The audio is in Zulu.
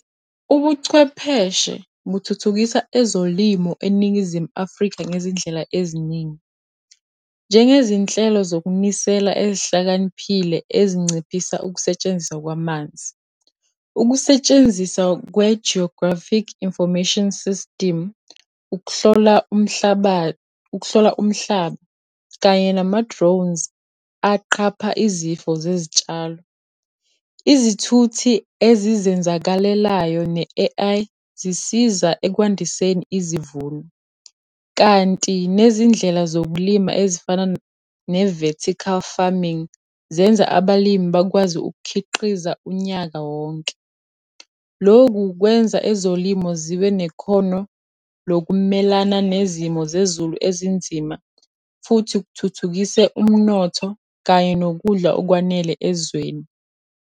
Ubuchwepheshe buthuthukisa ezolimo eNingizimu Afrika ngezindlela eziningi. Njengezinhlelo zokunisela ezihlakaniphile ezinciphisa ukusetshenziswa kwamanzi. Ukusetshenziswa kwe-Geographic Information System, ukuhlola umhlaba, ukuhlola umhlaba kanye nama-drones aqapha izifo zezitshalo. Izithuthi ezizenzakalelayo ne-A_I, zisiza ekwandiseni izivuno kanti nezindlela zokulima ezifana ne-vertical farming, zenza abalimi bakwazi ukukhiqiza unyaka wonke. Lokhu kwenza ezolimo zibe nekhono lokumelana nezimo zezulu ezinzima, futhi kuthuthukise umnotho kanye nokudla okwanele ezweni.